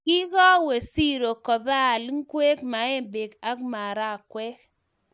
Kingowo siro kiboal ingwek, maembek ago marakwek